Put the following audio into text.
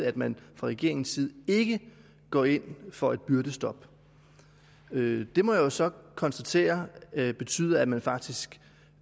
at man fra regeringens side ikke går ind for et byrdestop det det må jeg jo så konstatere betyder at man faktisk